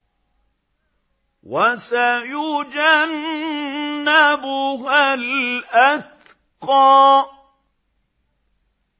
وَسَيُجَنَّبُهَا الْأَتْقَى